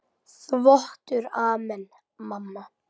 Þvottur Amen mamma?